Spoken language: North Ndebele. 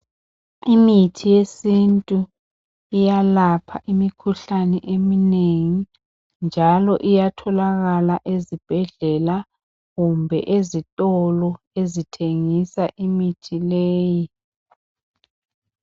Imithi yesintu iyalapha umukhuhlane omunegi njalo iyatholakala ezibhendlela kumbe ezistolo ezithengisa imithi leyi